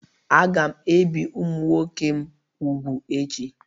Aga m ebi ụmụ nwoke m úgwù echi